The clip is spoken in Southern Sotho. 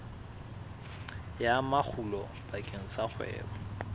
ya makgulo bakeng sa kgwebo